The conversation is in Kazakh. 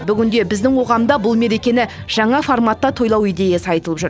бүгінде біздің қоғамда бұл мерекені жаңа форматта тойлау идеясы айтылып жүр